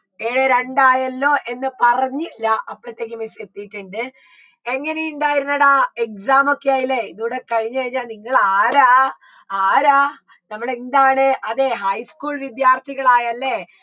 A രണ്ടായല്ലോ എന്ന് പറഞ്ഞില്ല അപ്പഴത്തേക്ക് miss എത്തിയിട്ടിണ്ട് എങ്ങനെയുണ്ടായിരുന്നെടാ exam മൊക്കെയല്ലേ ഇതിവിടെ കഴിഞ്ഞേനാ നിങ്ങളാരാ ആരാ നമ്മളെന്താണ് അതെ high school വിദ്യാർത്ഥികളായല്ലേ